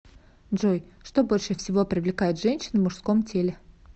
джой что больше всего привлекает женщин в мужском теле